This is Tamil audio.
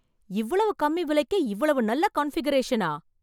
இவ்வளவு கம்மி விலைக்கே இவ்வளவு நல்ல கன்ஃபிகரேஷனா!